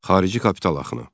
Xarici kapital axını.